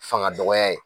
Fanga dɔgɔya ye